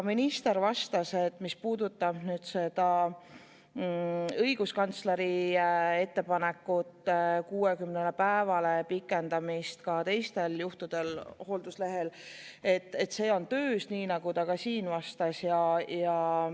Minister vastas, et mis puudutab õiguskantsleri ettepanekut pikendada hoolduslehel olemist 60 päevani ka teistel juhtudel, siis see on töös, nii nagu ta ka siin vastas.